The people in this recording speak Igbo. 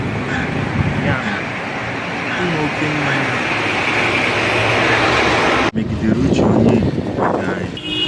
Ya mere, ịṅụ oké mmanya megidere uche Onye Okike anyị.